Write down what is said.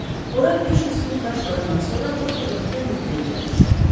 Ora 500 funt daş qoyandan sonra doktorla Kennedy də yerə düşdü.